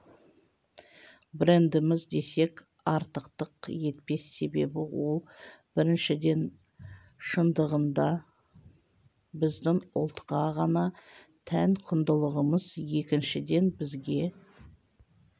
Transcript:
брендіміз десек артықтық етпес себебі ол біріншіден шындығында біздің ұлтқа ғана тән құндылығымыз екіншіден бізге